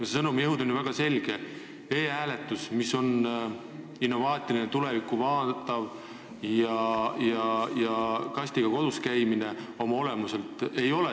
See sõnum on ju väga selge: e-hääletus on innovaatiline ja tulevikku vaatav, aga kastiga kodus käimine oma olemuselt seda ei ole.